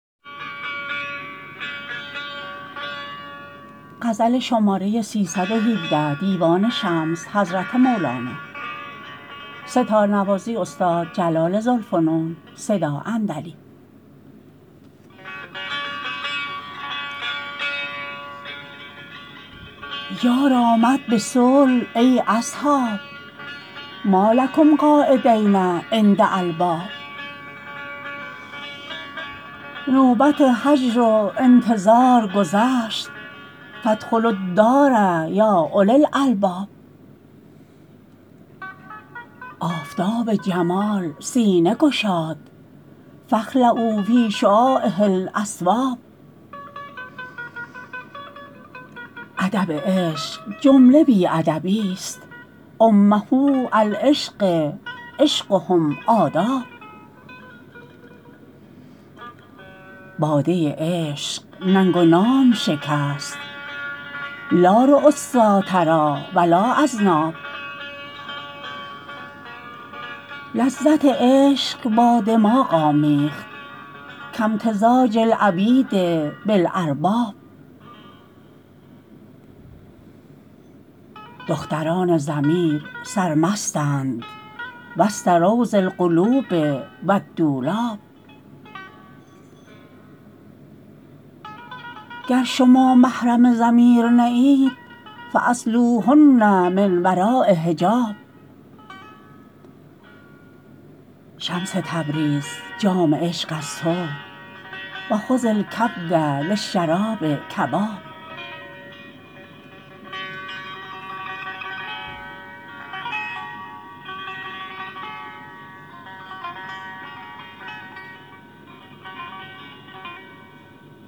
یار آمد به صلح ای اصحاب ما لکم قاعدین عند الباب نوبت هجر و انتظار گذشت فادخلوا الدار یا اولی الالباب آفتاب جمال سینه گشاد فاخلعوا فی شعاعه الاثواب ادب عشق جمله بی ادبیست أمة العشق عشقهم آداب باده عشق ننگ و نام شکست لا ریوسا تری و لا اذناب لذت عشق با دماغ آمیخت کامتزاج العبید بالارباب دختران ضمیر سرمستند وسط روض القلوب و الدولاب گر شما محرم ضمیر نه اید فاسیلوهن من وراء حجاب شمس تبریز جام عشق از تو و خذ الکبد للشراب کباب